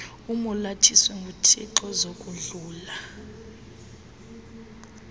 umolathiswe nguthixo zakudlula